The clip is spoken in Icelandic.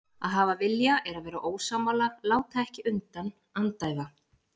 Að hafa vilja er að vera ósammála, láta ekki undan, andæfa.